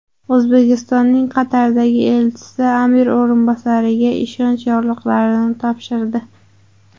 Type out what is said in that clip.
O‘zbekistonning Qatardagi elchisi amir o‘rinbosariga ishonch yorliqlarini topshirdi.